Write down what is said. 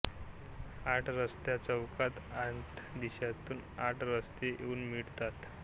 आठ रस्ता चौकात आठ दिशातून आठ रस्ते येऊन मिळतात